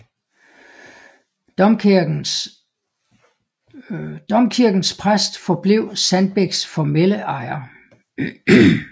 Domkirkens præst forblev Sandbæks formelle ejer